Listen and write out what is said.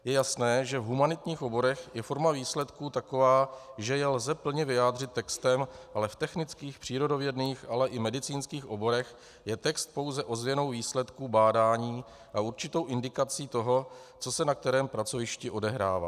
Je jasné, že v humanitních oborech je forma výsledků taková, že je lze plně vyjádřit textem, ale v technických, přírodovědných, ale i medicínských oborech je text pouze ozvěnou výsledku bádání a určitou indikací toho, co se na kterém pracovišti odehrává.